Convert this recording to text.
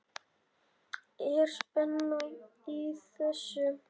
Er spenna í þessu?